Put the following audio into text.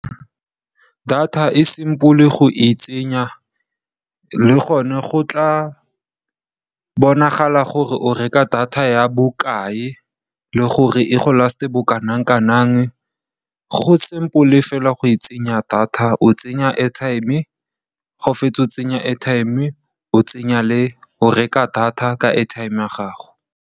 Data e simple go e tsenya le gone go tla bonagala gore o reka data ya bokae le gore e go last-a bo kana kang. Go simple fela go e tsenya data, o tsenya airtime ga o fetsa go tsenya airtime, o reka data ka airtime ya gago.